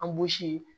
An